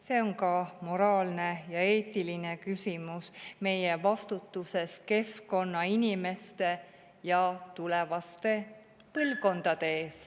See on ka moraalne ja eetiline küsimus meie vastutusest keskkonna, inimeste ja tulevaste põlvkondade ees.